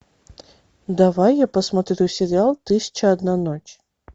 давай я посмотрю сериал тысяча одна ночь